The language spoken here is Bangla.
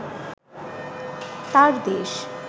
তার দেশ